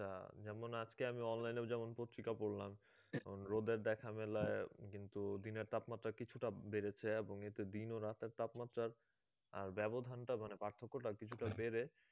হ্যাঁ যেমন আমি আজকে online এ দেখলাম এবং পত্রিকা পড়লাম রোদের দেখা মেলায় দিনের তাপমাত্রা কিছুটা বেড়েছে এবং এতে দিন ও রাতের তাপমাত্রার ব্যবধানটা মানে পার্থক্যটা কিছুটা বেড়ে